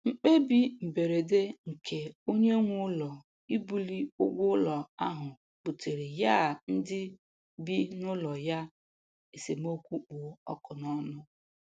Mkpebi mberede nke onye nwe ụlọ ibuli ụgwọ ụlọ ahụ buteere ya ndị bị n'ụlọ ya esemokwu kpụ ọkụ n'ọnụ